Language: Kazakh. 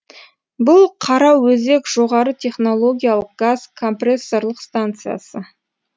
бұл қараөзек жоғары технологиялық газ компрессорлық станциясы